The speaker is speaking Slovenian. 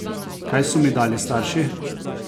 Kaj so mi dali starši?